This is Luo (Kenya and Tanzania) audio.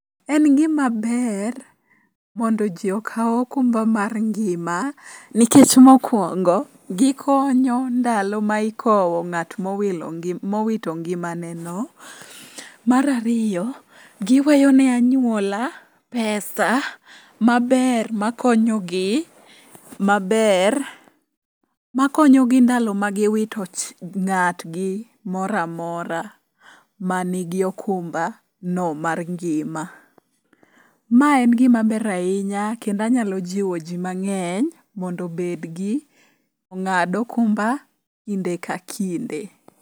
En gimaber mondo ji okaw okumba mar ngima nikech mokwongo gikonyo ndalo ma ikowo ng'at mowito ngimaneno. Mar ariyo, giweyo ne anyuola pesa maber makonyogi ndalo ma giwito ng'atgi moro amora manigi okumbano mar ngima. Ma en gima ber ahinya kendo anyalo jiwo ji mang'eny mondo ong'ad okumba kinde ka kinde.